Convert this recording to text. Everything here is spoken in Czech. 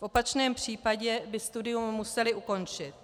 V opačném případě by studium museli ukončit.